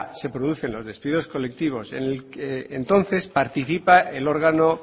se producen los despidos colectivos entonces participa el órgano